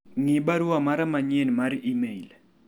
ng'i barua mara manyien mar email